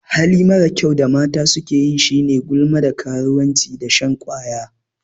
Hali marar kyau da mata sukeyi shine gulma, da karuwanci da shan ƙwaya.